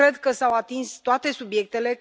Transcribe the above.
Cred că s au atins toate subiectele.